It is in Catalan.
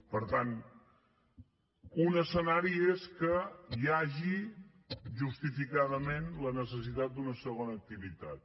per tant un escenari és que hi hagi justificadament la necessitat d’una segona activitat